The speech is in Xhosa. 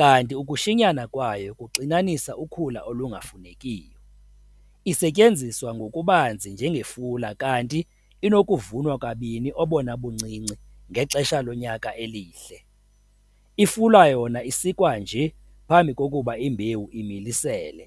kanti ukushinyana kwayo kuxinanisa ukhula olungafunekiyo. Isetyenziswa ngokubanzi njengefula kanti inokuvunwa kabini obona buncinci ngexesha lonyaka elihle. Ifula yona isikwa nje phambi kokuba imbewu imilisele.